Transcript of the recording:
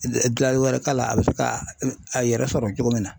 dilanni wɛrɛ t'a la a bɛ se k'a a yɛrɛ sɔrɔ cogo min na .